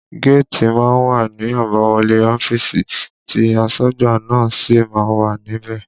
Géètì má ń wà ní àbáwọlé ọ́fíìsì tí asọ́gbà náà sì má ń wà níbẹ̀